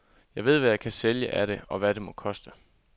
Jeg ved, hvad jeg kan sælge af det, og hvad det må koste.